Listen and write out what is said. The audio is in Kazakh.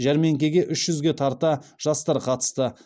жәрмеңкегк үш жүзге тарта жастар қатысты